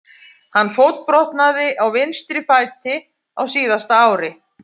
Hann fótbrotnaði á vinstri fæti á síðasta ári.